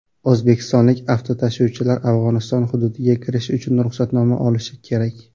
O‘zbekistonlik avtotashuvchilar Afg‘oniston hududiga kirish uchun ruxsatnoma olishi kerak.